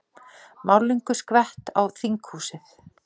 Málningu skvett á þinghúsið